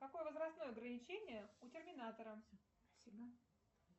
какое возрастное ограничение у терминатора